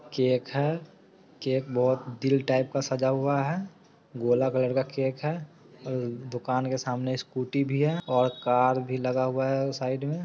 cake है cake बहोत दिल टाइप का सजा हुआ है गोला कलर का केके है और दुकान के सामने एक स्कूटी भी है और कार भी लगा हुआ है सामने में |